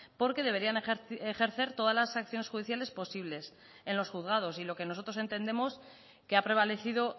porque deberían ejercer todas las acciones judiciales posibles en los juzgados y lo que nosotros entendemos que ha prevalecido